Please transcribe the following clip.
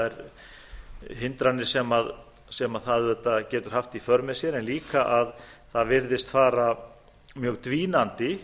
þær hindranir sem það auðvitað getur haft í för með sér en líka að það virðist fara mjög dvínandi